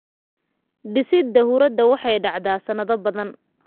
Dhisidda huurada waxay dhacdaa sannado badan.